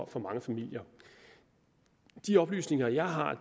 for mange familier i de oplysninger jeg har